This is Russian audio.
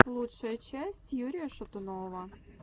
лучшая часть юрия шатунова